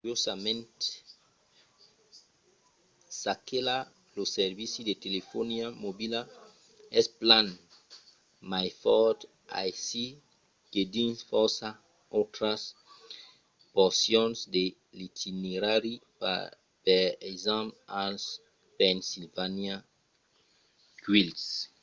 curiosament çaquelà lo servici de telefonia mobila es plan mai fòrt aicí que dins fòrça autras porcions de l'itinerari per exemple als pennsylvania wilds